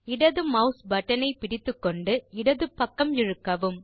இடது mouse button ஐ பிடித்துக்கொண்டு இடது பக்கம் இழுக்கவும்